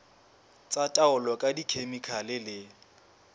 tsa taolo ka dikhemikhale le